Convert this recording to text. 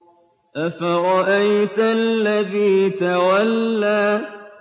أَفَرَأَيْتَ الَّذِي تَوَلَّىٰ